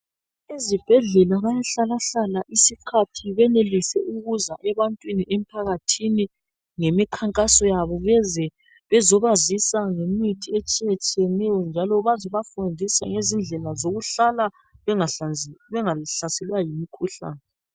Ezibhedlela bayahlalahlala isikhathi benelise ukuza ebantwini emphakathini ngemikhankaso yabo beze bezobazisa ngemithi etshiyetshiyeneyo njalo bazobafundisa ngezindlela zokuhlala bengahlaselwa yimikhuhlane.